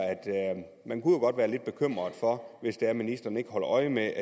man kunne være lidt bekymret for at ministeren ikke holder øje med